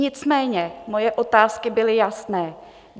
Nicméně moje otázky byly jasné.